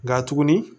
Nka tuguni